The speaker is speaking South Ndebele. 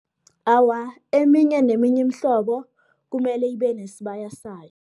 Awa, eminye neminye iimhlobo, kumele ibe nesibaya sayo.